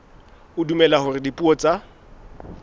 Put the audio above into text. o dumela hore dipuo tsa